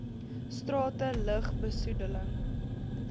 strate lug besoedeling